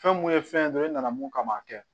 Fɛn mun ye fɛn ye dɔrɔn e nana mun kama